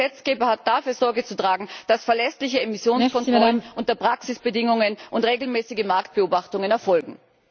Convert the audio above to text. Und der Gesetzgeber hat dafür Sorge zu tragen, dass verlässliche Emissionskontrollen unter Praxisbedingungen und regelmäßige Marktbeobachtungen erfolgen.